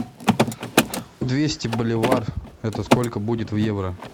двести боливар это сколько будет в евро